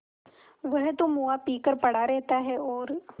वह तो मुआ पी कर पड़ा रहता है और